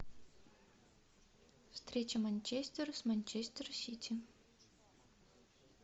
встреча манчестер с манчестер сити